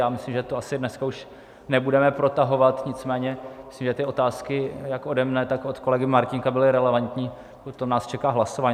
Já myslím, že to asi už dneska nebudeme protahovat, nicméně myslím, že ty otázky jak ode mne, tak od kolegy Martínka byly relevantní, potom nás čeká hlasování.